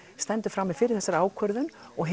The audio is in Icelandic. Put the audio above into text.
stendur frammi fyrir þessari ákvörðun og